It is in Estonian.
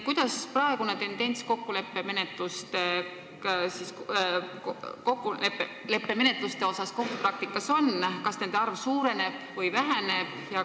Missugune tendents kokkuleppemenetluste kasutamisel kohtupraktikas praegu on: kas nende arv suureneb või väheneb?